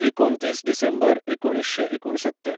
एकुणतीस डिसेंबर एकुणिशें एकूणसत्तर